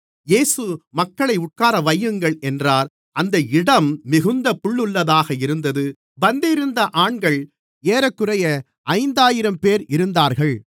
இயேசு மக்களை உட்காரவையுங்கள் என்றார் அந்த இடம் மிகுந்த புல்லுள்ளதாக இருந்தது பந்தியிருந்த ஆண்கள் ஏறக்குறைய ஐந்தாயிரம் பேர் இருந்தார்கள்